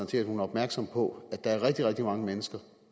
til at hun er opmærksom på at der er rigtig rigtig mange mennesker